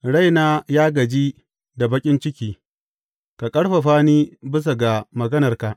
Raina ya gaji da baƙin ciki; ka ƙarfafa ni bisa ga maganarka.